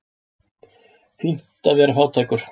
Fínt að vera fátækur.